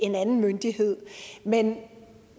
en anden myndighed men